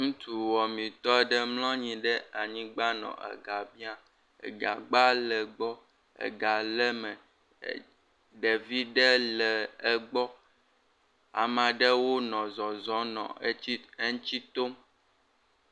Ŋutsu woametɔ aɖe mlɔ anyigba le e gã biã. E gã gbã le gbɔ, e gã le me ɖevi ɖe le egbɔ ame aɖewo nɔ zɔzɔm le eŋuti tom.